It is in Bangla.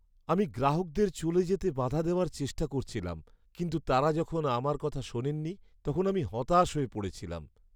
আমি গ্রাহকদের চলে যেতে বাধা দেওয়ার চেষ্টা করেছিলাম কিন্তু তারা যখন আমার কথা শোনেনি তখন আমি হতাশ হয়ে পড়েছিলাম।